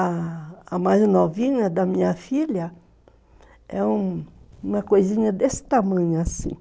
A mais novinha da minha filha é uma coisinha desse tamanho assim.